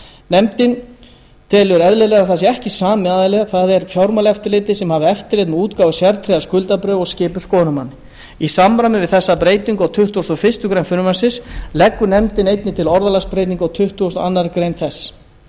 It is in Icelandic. nefndin telur eðlilegra að það sé ekki sami aðili það er fjármálaeftirlitið sem hafi eftirlit með útgáfu sértryggðra skuldabréfa og skipi skoðunarmann í samræmi við þessa breytingu á tuttugustu og fyrstu grein frumvarpsins leggur nefndin einnig til orðalagsbreytingu á tuttugustu og annarrar greinar þess